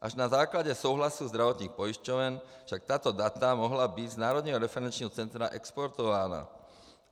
Až na základě souhlasu zdravotních pojišťoven však tato data mohla být z Národního referenčního centra exportována.